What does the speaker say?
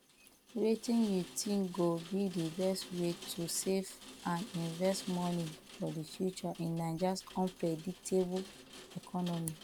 wetin you think go be di best way to save and invest money for di future in niajas unpredictable economy